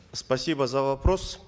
спасибо за вопрос